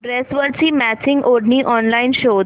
ड्रेसवरची मॅचिंग ओढणी ऑनलाइन शोध